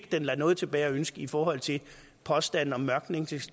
lader noget tilbage at ønske i forhold til påstanden om